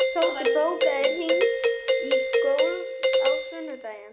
Tóti, bókaðu hring í golf á sunnudaginn.